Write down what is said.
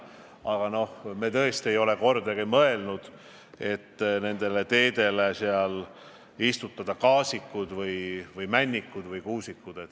Aga me tõesti ei ole kordagi mõelnud, et nendele teedele tuleks istutada kased või männid või kuused.